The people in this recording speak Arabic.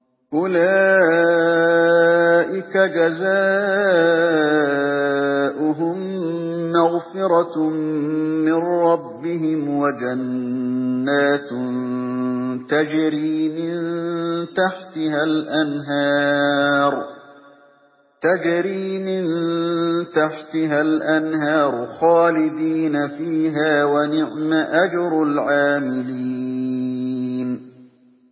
أُولَٰئِكَ جَزَاؤُهُم مَّغْفِرَةٌ مِّن رَّبِّهِمْ وَجَنَّاتٌ تَجْرِي مِن تَحْتِهَا الْأَنْهَارُ خَالِدِينَ فِيهَا ۚ وَنِعْمَ أَجْرُ الْعَامِلِينَ